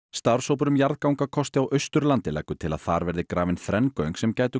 starfshópur um jarðagangakosti á Austurlandi leggur til að þar verði grafin þrenn göng sem gætu